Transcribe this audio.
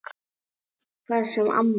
Hvað sem amma segir.